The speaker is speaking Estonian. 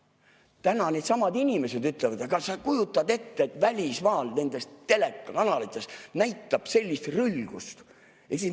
Täna needsamad inimesed ütlevad: kas sa kujutad ette, et välismaal nendes telekanalites näidatakse sellist rõlgust?